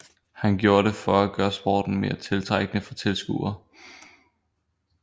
Han gjorde det for at gøre sporten mere tiltrækkende for tilskuere